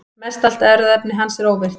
Mestallt erfðaefni hans er óvirkt.